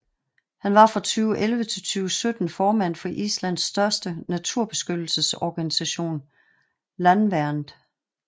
Han var fra 2011 til 2017 formand for Islands største naturbeskyttelsesorganisation Landvernd